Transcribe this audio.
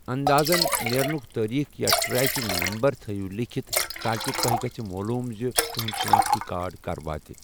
اندازَن نٮ۪رنُک تٲریٖخ یا ٹریکنگ نمبر تھیِو لیکھتھ تاکہ تُۄہہِ گژھہِ معلوم زِ تُہنٛد شِناختی کارڈ کَر واتہِ۔